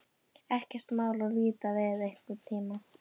Ekkert mál að líta við einhvern tíma.